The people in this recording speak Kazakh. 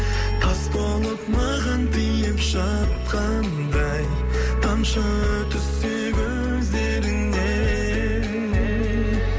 тас болып маған тиіп жатқандай тамшы түссе көздеріңнен